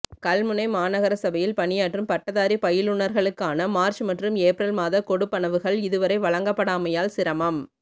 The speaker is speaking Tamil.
கல்முனை மாநகர சபையில் பணியாற்றும் பட்டதாரி பயிலுனர்களுக்கான மார்ச் மற்றும் ஏப்ரல் மாத கொடுப்பனவுகள் இதுவரை வழங்கப்படாமையால் சிரமம்